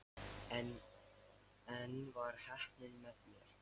En enn var heppnin með mér.